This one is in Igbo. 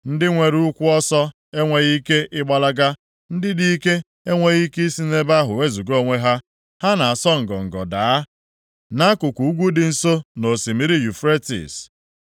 “Ndị nwere ụkwụ ọsọ enweghị ike ịgbalaga, ndị dị ike enweghị ike isi nʼebe ahụ wezuga onwe ha. Ha na-asọ ngọngọ daa, nʼakụkụ ugwu dị nso nʼosimiri Yufretis.